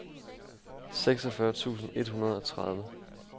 seksogfyrre tusind et hundrede og tredive